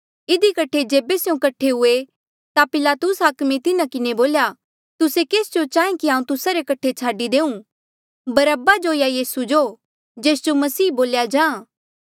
इधी कठे जेबे स्यों कठे हुए ता पिलातुस हाकमे तिन्हा किन्हें बोल्या तुस्से केस जो चाहें कि हांऊँ तुस्सा रे कठे छाडी देऊं बरअब्बा जो या यीसू जो जेस जो मसीह बोल्या जाहाँ